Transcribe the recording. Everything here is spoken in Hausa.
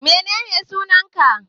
Menene sunan ka?